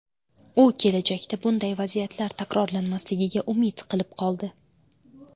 U kelajakda bunday vaziyatlar takrorlanmasligiga umid qilib qoldi.